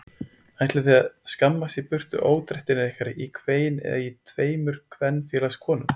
Ætlið þið að skammast í burtu ódrættirnir ykkar hvein í tveimur kvenfélagskonum.